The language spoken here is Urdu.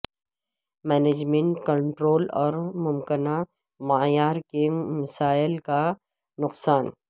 مینجمنٹ کنٹرول اور ممکنہ معیار کے مسائل کا نقصان